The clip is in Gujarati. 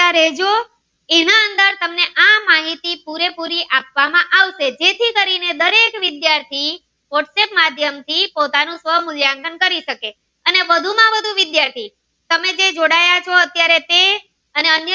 ના માહિતી પુરે પુરી આપવા માં આવશે જેથી કરી ને દરેક વિદ્યાર્થી whatsapp માધ્યમ થી પોતાનું સ્વમુલ્યાંકન કરી શકે અને વધુ માં વધુ વિદ્યાર્થી તમે જે જોડાયેલા છે તે અને અન્ય.